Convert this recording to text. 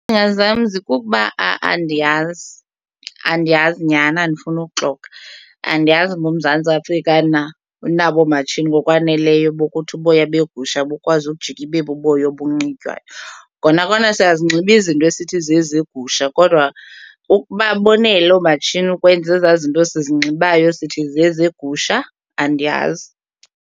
kukuba andiyazi, andiyazi nyhani andifuni ukuxoka. Andiyazi uba uMzantsi Afrika na unabo oomatshini ngokwaneleyo bokuthi uboya begusha bukwazi ukujika ibe buboya obunxitywayo. Kona kona siyazinxiba izinto esithi zezegusha kodwa ukuba bonele oomatshini ukwenza ezaa zinto sizinxibayo sithi zezegusha, andiyazi.